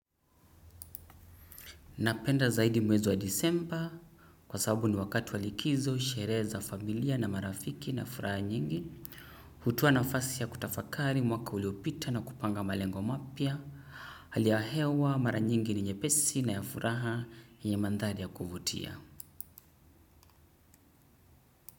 Napenda zaidi mwezi wa disemba kwa sababu ni wakati wa likizo sherehe za familia na marafiki na furaha nyingi. Hutoa na fasi ya kutafakari mwaka uliopita na kupanga malengo mapya. Haliahewa mara nyingi ninyepesi na ya furaha yenye mandhali ya kubutia.